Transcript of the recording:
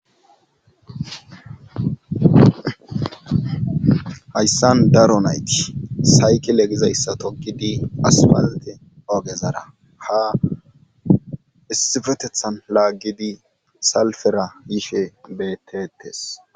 hayssan daro nayti sayki legizayssa tokidi aspalte ogezara ha issifetethan laaggidi salfera yishe betetees